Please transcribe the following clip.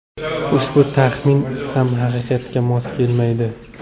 Ushbu taxmin ham haqiqatga mos kelmaydi.